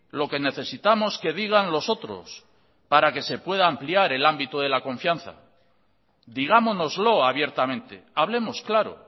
lo que necesitamos que digan los otros para que se pueda ampliar el ámbito de la confianza digámonoslo abiertamente hablemos claro